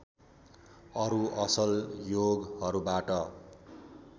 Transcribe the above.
अरु असल योगहरूबाट